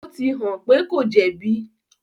ó ti hàn pé kò jẹ̀bi.